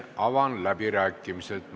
Avan läbirääkimised.